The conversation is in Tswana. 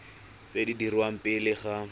tse di dirwang pele ga